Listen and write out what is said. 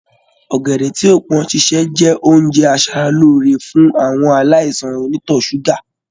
Ọ̀gẹ̀dẹ̀ tí ò pọ́n sísè jẹ́ oúnjẹ aṣara lóore fún àwọn aláìsàn onítọ̀ ṣúgà